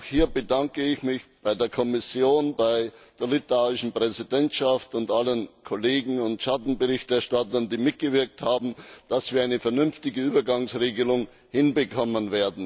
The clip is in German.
Auch hier bedanke ich mich bei der Kommission, bei der litauischen Präsidentschaft und allen Kollegen und Schattenberichterstattern, die mitgewirkt haben, dass wir eine vernünftige Übergangsregelung hinbekommen.